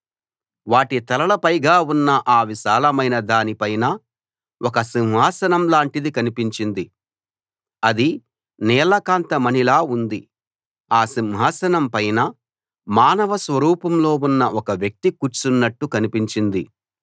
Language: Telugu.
వాటి తలల పైగా ఉన్న ఆ విశాలమైనదాని పైన ఒక సింహాసనం లాంటిది కనిపించింది అది నీలకాంత మణిలా ఉంది ఆ సింహాసనం పైన మానవ స్వరూపంలో ఉన్న ఒక వ్యక్తి కూర్చున్నట్లు కనిపించింది